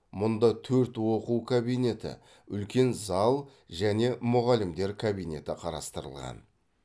мұнда төрт оқу кабинеті үлкен зал және мұғалімдер кабинеті қарастырылған